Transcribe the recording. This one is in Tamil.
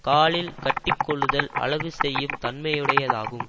காலில் கட்டிக்கொள்ளுதல் அழகு செய்யும் தன்மையுடையதாகும்